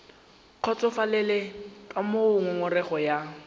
kgotsofalele ka moo ngongorego ya